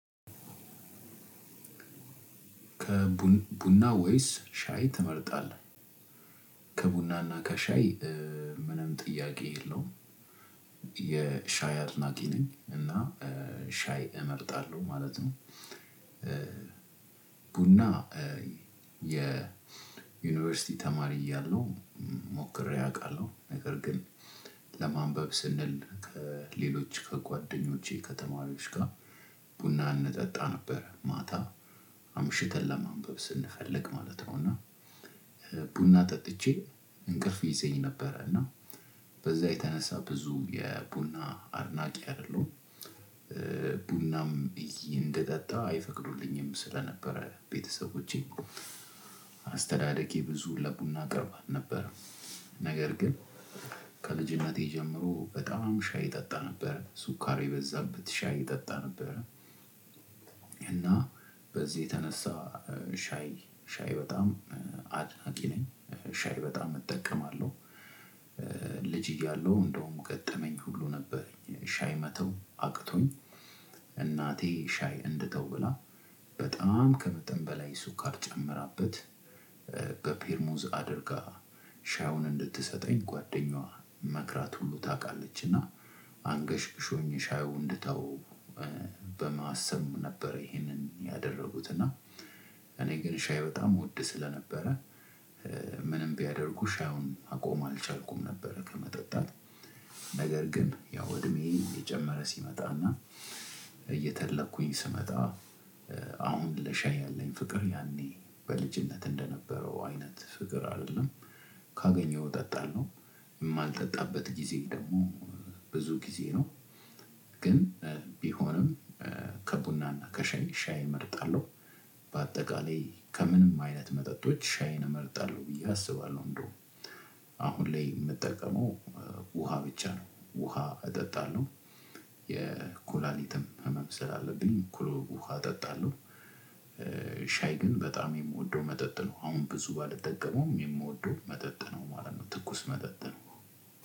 ከቡን ቡና ወይስ ሻይ ትመርጣለህ? ከቡናና ከሻይ እ ምንም ጥያቄ የለውም። የሻይ አድናቂ ነኝ እና እ ሻይ እመርጣለሁ ማለት ነው። እ ቡና እ የ ዩኒቨርሲቲ ተማሪ እያለሁ ሞክሬ አውቃለሁ ነገር ግን ለማንበብ ስንል ከሌሎች ከጓደኞቼ ከተማሪዎች ጋር ቡና እንጠጣ ነበር ማታ አምሽተን ለማንበብ ስንፈልግ ማለት ነው። እና እ ቡና ጠጥቼ እንቅልፍ ይዘኝ ነበረ እና በዛ የተነሳ ብዙ የቡና አድናቂ አይደለሁም። እ ቡናም እንድጣጣ አይፈቅዱልኝም ስለነበረ ቤተሰቦቼ አስተዳደጌ ብዙ ለቡና ቅርብ አልነበረም። ነገር ግን ከልጅነቴ ጀምሮ በጣም ሻይ እጠጣ ነበረ ሱኳር የበዛበት ሻይ እጠጣ ነበረ። እና በዚህ የተነሳ እ ሻይ ሻይ በጣም አድናቂ ነኝ ሻይ በጣም እጠቀማለሁ። እ ልጅ እያለሁ እንደውም ገጠመኝ ሁሉ ነበረኝ ሻይ መተው አቅቶኝ። እናቴ ሻይ እንድተው ብላ በጣም ከመጠን በላይ ስኳር ጨምራበት እ በፔርሙዝ አድርጋ ሻዩን እንድትሰጠኝ ጓደኛዋ መክራት ሁሉ ታውቃለች። እና አንገሽግሾኝ ሻዩን እንድተወው በማሰብ ነበር ይሄንን ያደረጉት እና እኔ ግን ሻይ በጣም እወድ ስለነበረ እ ምንም ቢያደርጉ ሻዩን ማቆም አልቻልኩም ነበረ። ከመጠጣት ነገር ግን ያው እድሜ እየጨመረ ሲመጣና እየተለኩኝ ስመጣ አሁን ለሻይ ያለኝ ፍቅር ያኔ በልጅነት እንደነበረው አይነት ፍቅር አይደለም። ካገኘኸው እጠጣለው የማልጠጣበት ጊዜ ደግሞ ብዙ ጊዜ ነው። ግን እ ቢሆንም እ ከቡና እና ከሻይ ሻይ እመርጣለሁ። በአጠቃላይ ከምንም አይነት መጠጦች ሻይን እመርጣለሁ ብዬ አስባለሁ እንደው አሁን ላይ የምጠቀመው ውሃ ብቻ ነው። ውሃ እጠጣለሁ የኩላሊትም ህመም ስላለብኝ ኩል ውሃ እጠጣለሁ። ሻይ ግን በጣም የምወደው መጠጥ ነው። አሁን ብዙ ባልጠቀመውም የምወደው መጠጥ ነው ማለት ነው። ትኩስ መጠጥ ነው።